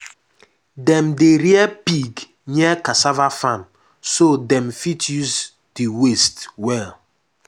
dem dey rear pig near cassava farm so dem fit use the waste well.